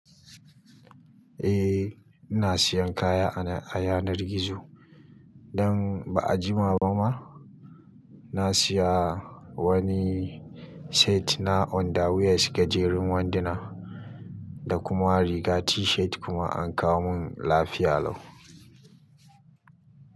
Eh ina siyan kaya a yanar gizo. Dan ba a jima ba ma na siya wani set na underwear gajerun wanduna da kuma riga t-shirt kuma an kawo mun lafiya lau.